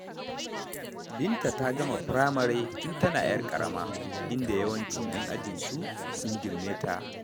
Binta ta gama firamare tun tana 'yar ƙarama, inda yawancin 'yan ajinsu sun girme ta.